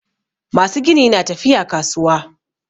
Masu gini na tafiya kasuwa